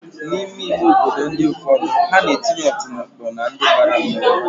N'ime ime obodo ụfọdụ, ha na-etinye ọtụmọkpọ n'aru ndi bara mmanwụ